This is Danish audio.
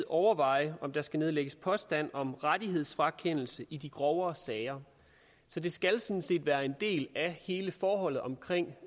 overveje om der skal nedlægges påstand om rettighedsfrakendelse i de grovere sager så det skal sådan set være en del af hele forholdet omkring